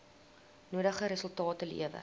nodige resultate lewer